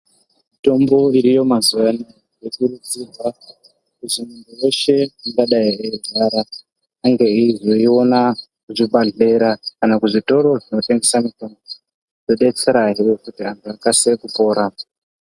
Mutombo iriyo mazuwa anaya yokurudzirwa kuti muntu weshe ungadai eirwara ange eizoiona muzvibhadhlera kana muzvitoro zvinotengese mitombo kudetserahe kuti antu akasire kupora.